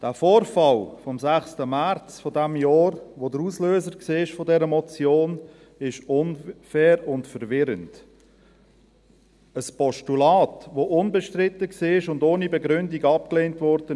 Der Vorfall vom 6. März dieses Jahres, welcher der Auslöser dieser Motion war, ist unfair und verwirrend – ein Postulat, welches unbestritten war und ohne Begründung abgelehnt wurde.